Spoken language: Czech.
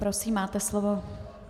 Prosím, máte slovo.